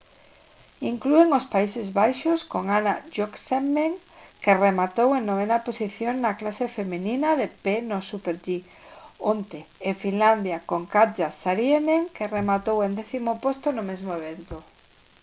inclúen os países baixos con anna jochemsen que rematou en 9.ª posición na clase feminina de pé no super-g onte e finlandia con katja saarinen que rematou en 10.º posto no mesmo evento